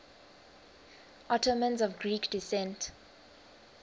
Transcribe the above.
ottomans of greek descent